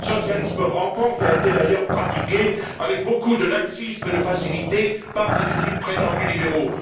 Le socialisme rampant qui a été, d'ailleurs, pratiqué avec beaucoup de laxisme et de facilité par les régimes prétendus libéraux.